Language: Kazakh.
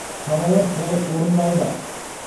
шаралар толық орындалды